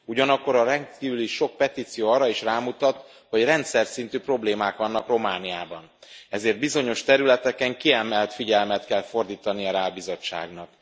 Ugyanakkor a rendkívül sok petíció arra is rámutat, hogy rendszerszintű problémák vannak Romániában, ezért bizonyos területeken kiemelt figyelmet kell fordítania rá a Bizottságnak.